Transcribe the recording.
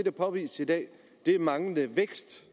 er påvist i dag er manglende vækst